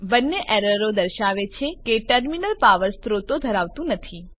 બંને એરરો દર્શાવે છે કે ટર્મિનલ પાવર સ્ત્રોતો ધરાવતું નથી